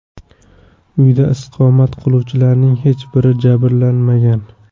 Uyda istiqomat qiluvchilarning hech biri jabrlanmagan.